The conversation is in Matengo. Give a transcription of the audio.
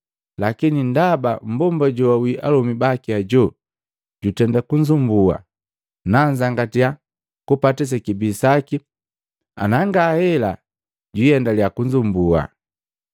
lakini ndaba mmbomba joawi alomi baki ajo jundenda kunzumbua, nanzangatiya kupata sekibii saki anangahela jwiiendalea kunzumbua!’ ”